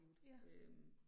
Ja